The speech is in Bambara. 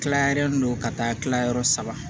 Tilalen don ka taa tilayɔrɔ saba